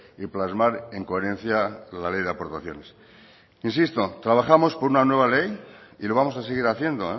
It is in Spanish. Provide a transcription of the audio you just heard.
y plasmar en coherencia la ley de aportaciones insisto trabajamos por una nueva ley y lo vamos a seguir haciendo